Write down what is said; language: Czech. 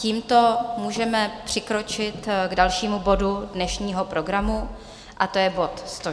Tímto můžeme přikročit k dalšímu bodu dnešního programu, a to je bod